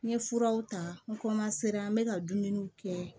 N ye furaw ta n n bɛ ka dumuniw kɛ